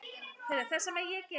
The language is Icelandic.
Við afi vorum góðir vinir.